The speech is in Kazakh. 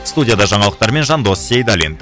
студияда жаңалықтармен жандос сейдалин